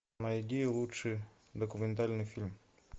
найди лучший документальный фильм